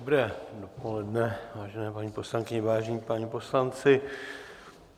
Dobré dopoledne, vážené paní poslankyně, vážení páni poslanci.